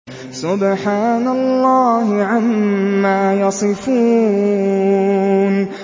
سُبْحَانَ اللَّهِ عَمَّا يَصِفُونَ